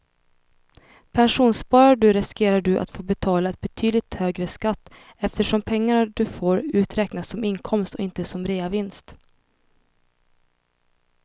Pensionssparar du riskerar du att få betala en betydligt högre skatt eftersom pengarna du får ut räknas som inkomst och inte som reavinst.